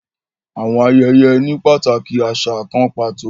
Àwọn ayẹyẹ ni pataki aṣa kàn pàtó